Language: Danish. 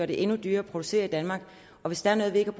det endnu dyrere at producere i danmark og hvis der er noget vi ikke